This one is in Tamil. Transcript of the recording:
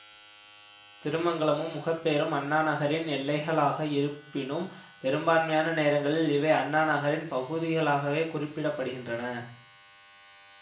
திருமங்கலமும் முகப்பேரும் அண்ணா நகரின் எல்லைகளாக இருப்பினும் பெரும்பான்மையான நேரங்களில் இவை அண்ணாநகரின் பகுதிகளாகவே குறிப்பிட படுகின்றன